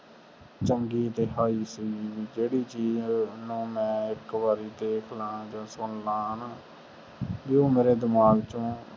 ਚੰਗੀ ਸੀ ਜਿਹਰਦੀ ਚੀਜ ਨੂੰ ਮੈਂ ਇਕ ਵਾਰ ਦੇਖ ਲੈ ਆ ਸੁਨ ਲੈ ਨਾ ਵੀ ਉਹ ਮੇਰੇ ਦਿਮਾਗ ਚੋ